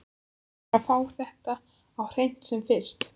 Hún verður að fá þetta á hreint sem fyrst.